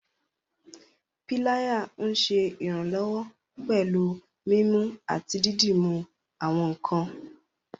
Pilaya nṣẹ iranlọwọ pẹ̀lú mímú àti dídúmú àwọn nkàn.